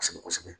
Kosɛbɛ kosɛbɛ